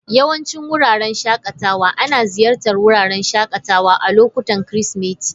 Yawancin wuraren shakatawa ana ziyartar wuraren shakatawa a lokutan Kirsimeti.